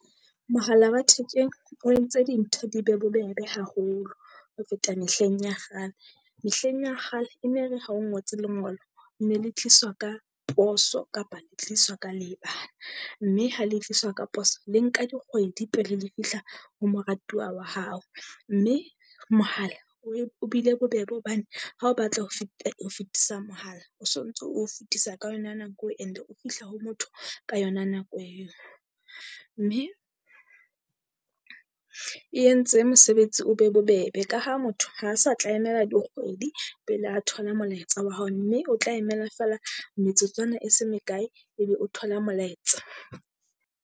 Mohala wa thekeng o entse dintho di be bobebe haholo ho feta mehleng ya kgale. Mehleng ya kgale e ne re ha o ngotse lengolo, ne le tliswa ka poso kapa le tliswa ka leebana. Mme ha le tliswa ka poso le nka dikgwedi pele le fihla ho moratuwa wa hao. Mme mohala oe o bile bobebe hobane ha o batla ho ho fetisa mohala o so ntso o fetisa ka yona nako, and-e o fihla ho motho ka yona nako eo. Mme e entse mosebetsi o be bobebe, ka ha motho ha sa tla emela dikgwedi pele a thola molaetsa wa hao, mme o tla emela feela metsotswana e se mekae, ebe o thola molaetsa.